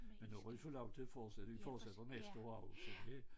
Men nu har vi fået lov til at fortsætte vi fortsætter næste år også det